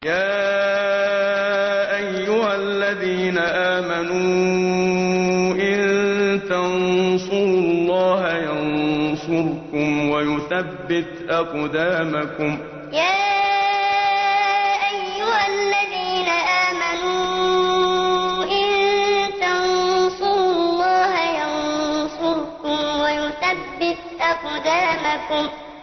يَا أَيُّهَا الَّذِينَ آمَنُوا إِن تَنصُرُوا اللَّهَ يَنصُرْكُمْ وَيُثَبِّتْ أَقْدَامَكُمْ يَا أَيُّهَا الَّذِينَ آمَنُوا إِن تَنصُرُوا اللَّهَ يَنصُرْكُمْ وَيُثَبِّتْ أَقْدَامَكُمْ